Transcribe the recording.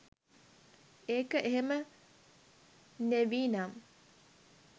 ඒක එහෙම නෙවි නම්